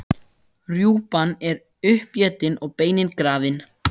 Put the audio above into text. Rjúpan er uppétin og beinin grafin.